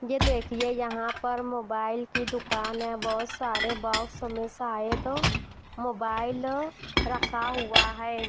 ये देखिए यहां पर मोबाइल की दुकान है बहुत सारे बॉक्स में शायद मोबाइल रखा हुआ है।